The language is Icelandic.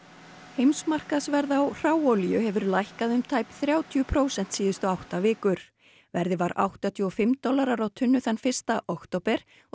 heimsmarkaðsverð á hráolíu hefur lækkað um tæp þrjátíu prósent síðustu átta vikur verðið var áttatíu og fimm dollarar á tunnu þann fyrsta október og